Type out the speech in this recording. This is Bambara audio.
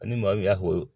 Ani maa min y'a fɔ